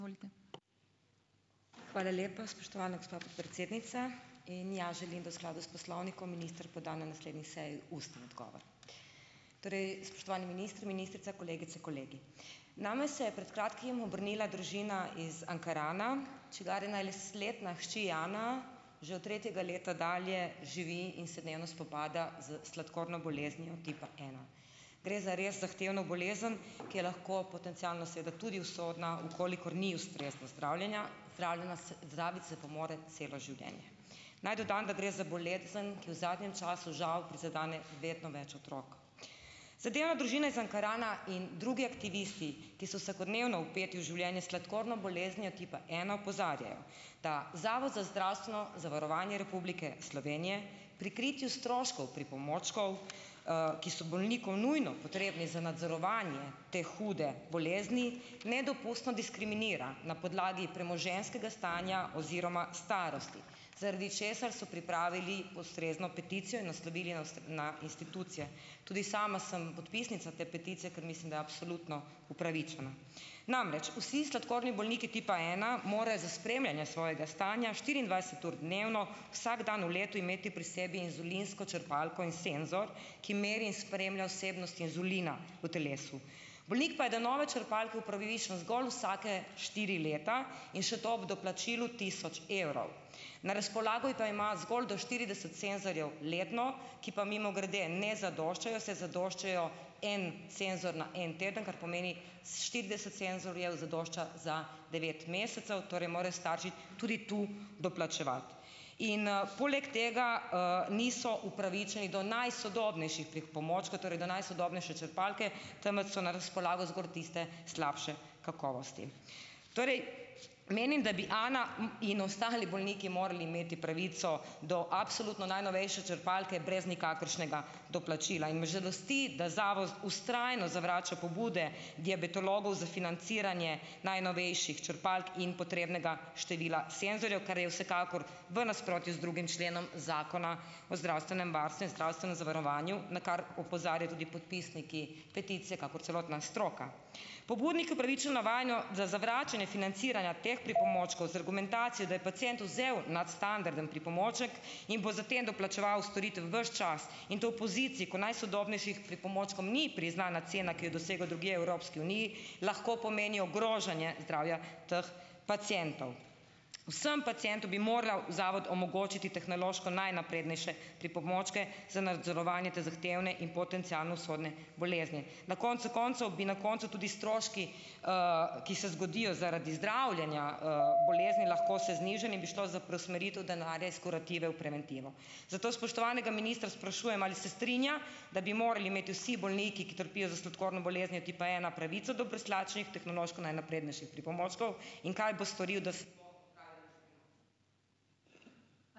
Izvolite. Hvala lepa, spoštovana gospa podpredsednica. In, ja, želim, da v skladu s poslovnikom minister poda na naslednji seji ustni odgovor. Torej, spoštovani minister, ministrica, kolegice, kolegi. Name se je pred kratkim obrnila družina iz Ankarana, čigar letina hči Ana že od tretjega leta dalje živi in se dnevno spopada z sladkorno boleznijo tipa ena. Gre za res zahtevno bolezen, ki je lahko potencialno sedaj tudi usodna, v kolikor ni ustrezno zdravljena, zdraviti pa se mora celo življenje. Naj dodam, da gre za bolezen, ki v zadnjem času, žal, prizadene vedno več otrok. Zadeva družine z Ankarana in drugi aktivisti, ki so vsakodnevno vpeti v življenje sladkorno boleznijo tipa ena, opozarjajo, da Zavod za zdravstveno zavarovanje Republike Slovenije pri kritju stroškov pripomočkov, ki so bolniku nujno potrebni za nadzorovanje te hude bolezni, nedopustno diskriminira na podlagi premoženjskega stanja oziroma starosti, zaradi česar so pripravili ustrezno peticijo in naslovili na na institucije. Tudi sama sem podpisnica te peticije, ker mislim, da absolutno upravičena. Namreč, vsi sladkorni bolniki tipa ena morajo za spremljanje svojega stanja štiriindvajset ur dnevno vsak dan v letu imeti pri sebi inzulinsko črpalko in senzor, ki meri in spremlja vsebnost inzulina v telesu. Bolnik pa je do nove črpalke upravičen zgolj vsake štiri leta in še to ob doplačilu tisoč evrov. Na razpolago pa ima zgolj do štirideset senzorjev letno, ki pa, mimogrede, ne zadoščajo, saj zadoščajo en senzor na en teden, kar pomeni štirideset senzorjev zadošča za devet mesecev, torej morajo starši tudi tu doplačevati. In, poleg tega, niso upravičeni do najsodobnejših pripomočkov, torej do najsodobnejše črpalke, temveč so na razpolago zgolj tiste slabše kakovosti. Torej, menim, da bi Ana, in ostali bolniki morali imeti pravico do absolutno najnovejše črpalke brez nikakršnega doplačila, in me žalosti, da zavod vztrajno zavrača pobude diabetologov za financiranje najnovejših črpalk in potrebnega števila senzorjev, kar je vsekakor v nasprotju z drugim členom Zakona o zdravstvenem varstvu in zdravstvenem zavarovanju, na kar opozarjajo tudi podpisniki peticije kakor celotna stroka. Pobudniki upravičeno da zavračanje financiranja teh pripomočkov z argumentacijo, da je pacient vzel nadstandardni pripomoček in bo za tem doplačeval storitev ves čas in to v poziciji, ko najsodobnejšim pripomočkom ni priznana cena, ki jo dosegajo drugje v Evropski uniji, lahko pomeni ogrožanje zdravja teh pacientov. Vsem pacientom bi moral zavod omogočiti tehnološko najnaprednejše pripomočke za nadzorovanje te zahtevne in potencialno usodne bolezni. Na koncu koncev bi na koncu tudi stroški, ki se zgodijo zaradi zdravljenja, bolezni lahko se znižali in bi šlo za preusmeritev denarja iz kurative v preventivo. Zato spoštovanega ministra sprašujem, ali se strinja, da bi morali imeti vsi bolniki, ki trpijo za sladkorno boleznijo tipa ena, pravico do brezplačnih tehnološko najnaprednejših pripomočkov in kaj bo storil, da se ...